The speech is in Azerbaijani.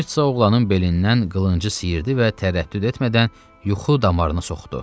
Mirtsa oğlanın belindən qılıncı sıyırdı və tərəddüd etmədən yuxu damarına soxdu.